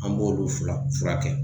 An b'olu fila furakɛ.